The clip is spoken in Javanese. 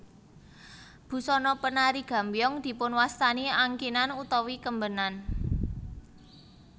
Busana penari gambyong dipunwastani angkinan utawi kembenan